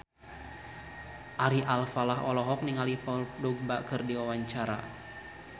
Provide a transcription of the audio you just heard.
Ari Alfalah olohok ningali Paul Dogba keur diwawancara